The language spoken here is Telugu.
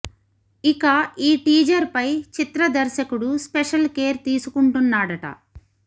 ఇక ఈ టీజర్ ఫై చిత్ర దర్శకుడు స్పెషల్ కేర్ తీసుకుంటున్నాడట